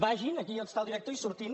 vagin aquí està el direc·tor i surtin